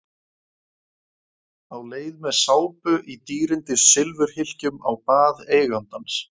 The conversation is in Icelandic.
Á leið með sápu í dýrindis silfurhylkjum á bað eigandans.